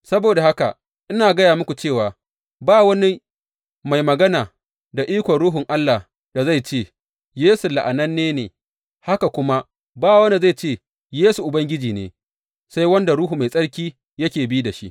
Saboda haka, ina gaya muku cewa ba wani mai magana da ikon Ruhun Allah da zai ce, Yesu la’ananne ne, haka kuma ba wanda zai ce, Yesu Ubangiji ne, sai wanda Ruhu Mai Tsarki yake bi da shi.